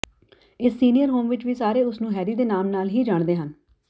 ਇਸ senior home ਵਿੱਚ ਵੀ ਸਾਰੇ ਉਸ ਨੂੰ ਹੈਰੀ ਦੇ ਨਾਮ ਨਾਲ ਹੀ ਜਾਣਦੇ ਹਨ